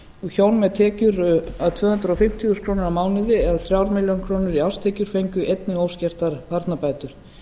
með tekjur að tvö hundruð fimmtíu þúsund krónur á mánuði eða þrjár milljónir króna í árstekjur fengju einnig óskertar barnabætur